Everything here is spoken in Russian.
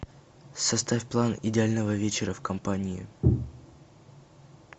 составь план идеального вечера в компании